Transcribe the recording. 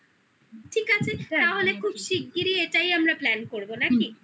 ঠিক আছে তাহলে খুব শিগগিরই এটাই আমরা plan করবো নাকি